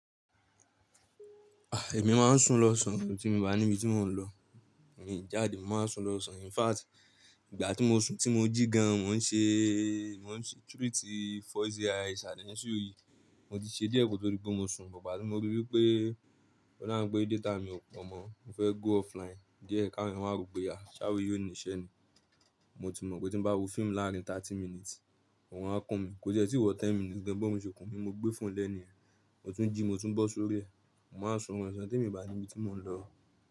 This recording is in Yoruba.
Ah! Èmi máa ń sùn lọ san, tí mo bá níbi tí mò ń lọ, mi jáde mo máa sùn lọ sọn. In fact, ìgbà tí mo sùn tí mo jí gan, mò ń ṣe, mò ń ṣe treat 40 eyes àdíẹ̀ sí orí. Mo ti ṣe díẹ̀ kótó di pé mo sùn, but ba tí mo rí wípé, o dabi pé data mi ò pọ̀ mọ́, mo fẹ́ go offline díẹ̀ káwọn ẹ́yan má ro pé a, ṣé àwe yìí ó ní iṣẹ́ ni? Mo ti mọ̀ wípé tí ń bá wo fíìmù láàárín thirty minutes, orun á kun mí. Kò se tí ì wọ̀ ten minutes gan, bí orun ṣe kùn mí, mo gbé fún lẹ ni ẹ́. Mo tún jí, mo tún bọ́ sórí ẹ. Mo máa sùn orun osan tí mo bá níbi tí mò ń lọ.